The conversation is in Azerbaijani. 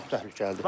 Çox təhlükəlidir.